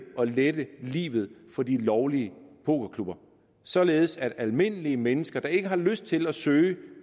og lette livet for de lovlige pokerklubber således at almindelige mennesker der ikke har lyst til at søge